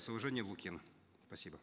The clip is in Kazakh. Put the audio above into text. с уважением лукин спасибо